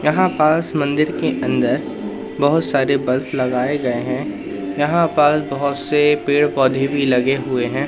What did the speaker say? यहां पास मंदिर के अंदर बहोत सारे बल्ब लगाए गए हैं यहां पास बहोत से पेड़-पौधे भी लगे हुए हैं।